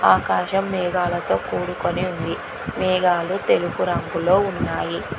ఆకాశం మేఘాలతో కూడుకొని ఉంది మేఘాలు తెలుపు రంగులో ఉన్నాయి.